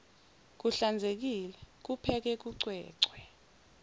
kuhlanzekile kupheke kucwecwe